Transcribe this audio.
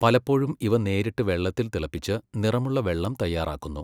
പലപ്പോഴും ഇവ നേരിട്ട് വെള്ളത്തിൽ തിളപ്പിച്ച് നിറമുള്ള വെള്ളം തയ്യാറാക്കുന്നു.